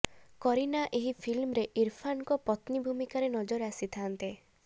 କରୀନା ଏହି ଫିଲ୍ମରେ ଇରଫାନଙ୍କ ପତ୍ନୀ ଭୂମିକାରେ ନଜର ଆସିଥାନ୍ତେ